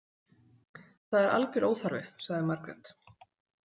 Það er algjör óþarfi, sagði Margrét.